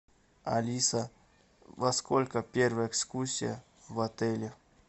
алиса во сколько первая экскурсия в отеле